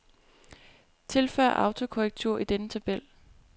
Tilføj autokorrektur i denne tabel.